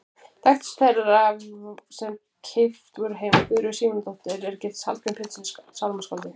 Þekktust þeirra sem keypt voru heim var Guðríður Símonardóttir er giftist Hallgrími Péturssyni sálmaskáldi.